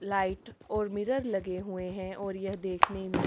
light ओर mirror लगे हुये है ओर यह देखने मे--